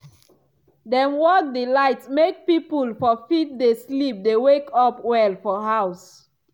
dem work di light make pipul for fit dey sleep dey wake up well for house.